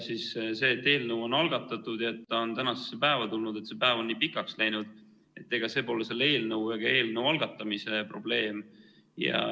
Ja see, et eelnõu on algatatud ja on tänasesse päeva tulnud, et see päev on nii pikaks läinud, pole selle eelnõu ega eelnõu algatamise probleem.